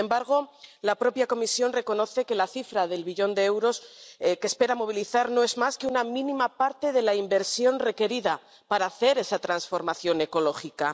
Sin embargo, la propia Comisión reconoce que la cifra del billón de euros que espera movilizar no es más que una mínima parte de la inversión requerida para hacer esa transformación ecológica.